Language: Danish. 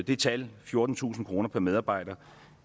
det tal fjortentusind kroner per medarbejder